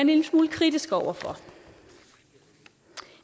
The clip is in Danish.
lille smule kritiske over for